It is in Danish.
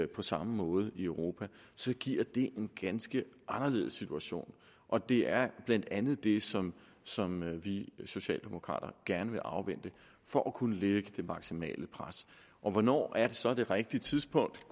på samme måde i europa giver det en ganske anderledes situation og det er blandt andet det som som vi socialdemokrater gerne vil afvente for at kunne lægge det maksimale pres hvornår er så det rigtige tidspunkt